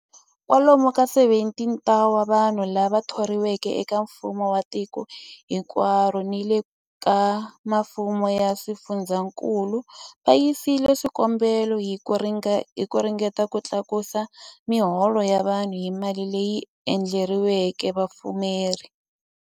Kwa lomu ka 17,000 wa vanhu lava thoriweke eka mfumo wa tiko hinkwaro ni le ka mifumo ya swifundzankulu va yisile swikombelo hi ku ringeta ku tlakusa miholo ya vona hi mali leyi endleriweke vapfumari.